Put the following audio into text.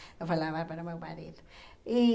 Eu falava para meu marido. E